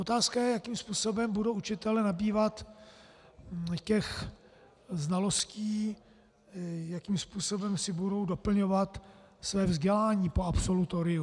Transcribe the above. Otázka je, jakým způsobem budou učitelé nabývat těch znalostí, jakým způsobem si budou doplňovat své vzdělání po absolutoriu.